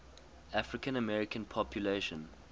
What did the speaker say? african american population